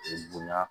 N bonya